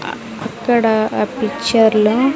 ఆ అక్కడ పిక్చర్ లో.